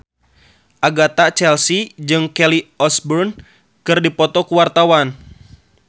Agatha Chelsea jeung Kelly Osbourne keur dipoto ku wartawan